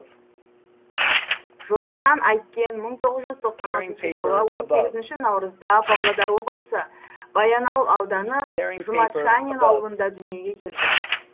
жоламан әйткен мың тоғыз жүз тоқсан алтыншы жылы он сегізінші наурызда павлодар облысы баянауыл ауданы жұмат шанин ауылында дүниеге келген